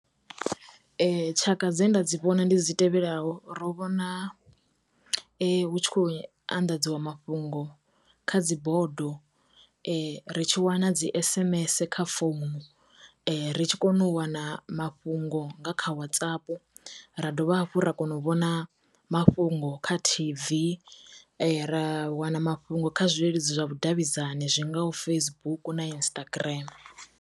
Tshaka dze nda dzi vhona ndi dzi tevhelaho. Ro vhona hu tshi kho anḓadziwa mafhungo kha dzi bodo, ri tshi wana dzi s_m_s kha phone, ri tshi kone u wana mafhungo nga kha Whatsapp, ra dovha hafhu ra kona u vhona mafhungo kha t_v, ra wana mafhungo kha zwileludzi zwa vhu davhidzani zwingaho Facebook na Instagram.